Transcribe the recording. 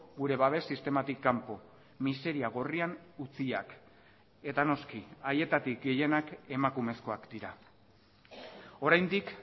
gure babes sistematik kanpo miseria gorrian utziak eta noski haietatik gehienak emakumezkoak dira oraindik